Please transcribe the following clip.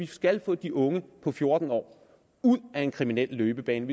skal vi få de unge på fjorten år ud af en kriminel løbebane